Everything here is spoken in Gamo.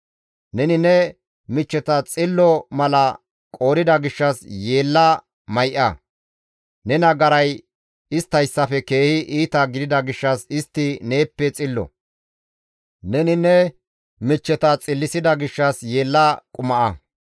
Neni ne michcheta xillo mala qoodida gishshas yeella may7a; ne nagaray isttayssafe keehi iita gidida gishshas istti neeppe xillo; neni ne michcheta xillisida gishshas yeella quma7a.